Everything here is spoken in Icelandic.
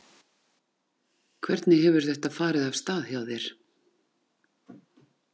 Hvernig hefur þetta farið af stað hjá þér?